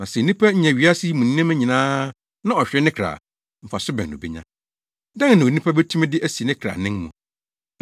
Na sɛ onipa nya wiase yi mu nneɛma nyinaa na ɔhwere ne kra a, mfaso bɛn na obenya? Dɛn na onipa betumi de asi ne kra anan mu?